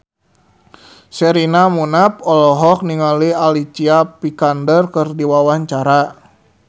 Sherina Munaf olohok ningali Alicia Vikander keur diwawancara